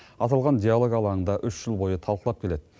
аталған диалог алаңында үш жыл бойы талқылап келеді